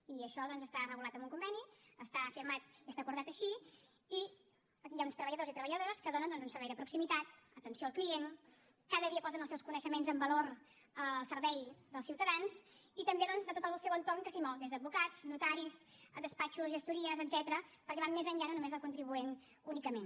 i això doncs està regulat en un conveni està firmat i està acordat així i hi ha uns treballadors i treballadores que donen un servei de proximitat atenció al client cada dia posen els seus coneixements en valor al servei dels ciutadans i també doncs de tot el seu entorn del que s’hi mou des d’advocats notaris despatxos gestories etcètera perquè van més enllà no només del contribuent únicament